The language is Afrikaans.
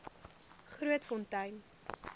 grootfontein